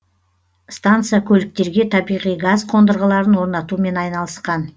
станция көліктерге табиғи газ қондырғыларын орнатумен айналысқан